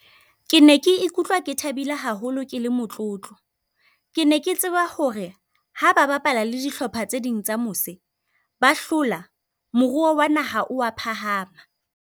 Ke ne ke ikutlwa ke thabile haholo ke le motlotlo. Ke ne ke tseba hore ha ba bapala le dihlopha tse ding tsa mose ba hlola, moruo wa naha o a phahama.